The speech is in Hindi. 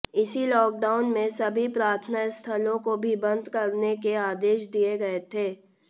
इसी लॉकडाउन में सभी प्रार्थना स्थलों को भी बंद करने के आदेश दिए गए थे